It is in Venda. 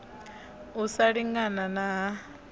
u sa lingana na ha